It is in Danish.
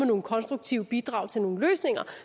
nogle konstruktive bidrag til nogle løsninger